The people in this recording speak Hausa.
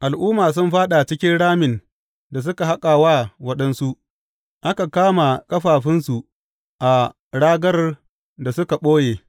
Al’umma sun fāɗa cikin ramin da suka haƙa wa waɗansu; aka kama ƙafafunsu a ragar da suka ɓoye.